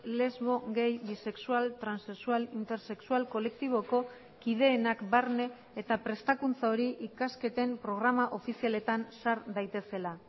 lesbo gay bisexual transexual intersexual kolektiboko kideenak barne eta prestakuntza hori ikasketen programa ofizialetan sar daitezela